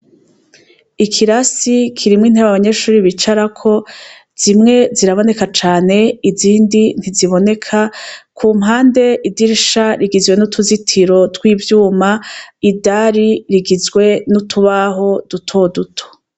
Ikirasi kirimwo intebe abanyeshure bicarako, zimwe ziraboneka cane, izindi ntiziboneka. Ku mpande idirisha rigizwe n'utuzitiro tw'ivyuma, idari rigizwe n'utubaho duto duto.